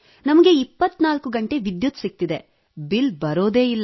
ನಮಗೆ 24 ಗಂಟೆ ವಿದ್ಯುತ್ ಸಿಗುತ್ತಿದೆ ಬಿಲ್ ಬರುವುದೇ ಇಲ್ಲ